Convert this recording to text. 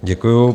Děkuji.